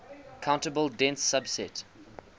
countable dense subset